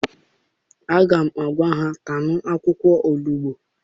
Aga m agwa ha, taanụ akwụkwọ onugbu!